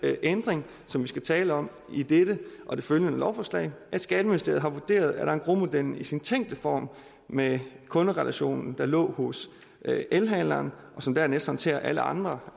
ændring som vi skal tale om i dette og det følgende lovforslag at skatteministeriet har vurderet at engrosmodellen i sin tænkte form med kunderelationen der lå hos elhandleren som dernæst håndterede alle andre